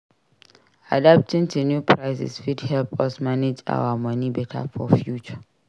Adapting to new prices fit help us manage our money better for future.